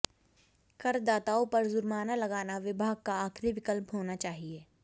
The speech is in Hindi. कर दाताओं पर जुर्माना लगाना विभाग का आखिरी विकल्प होना चाहिए